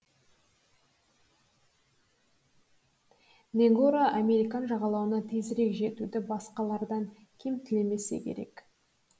негоро американ жағалауына тезірек жетуді басқалардан кем тілемесе керек